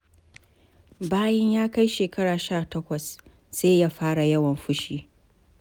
Bayan ya kai shekara sha takwas, sai ya fara yawan fushi.